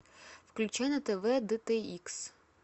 включи на тв д т икс